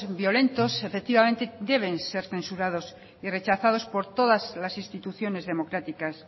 violentos efectivamente deben ser censurados y rechazados por todas las instituciones democráticas